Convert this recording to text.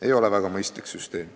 Ei ole väga mõistlik süsteem.